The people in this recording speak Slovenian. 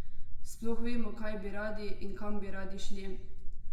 Sploh vemo, kaj bi radi in kam bi radi šli?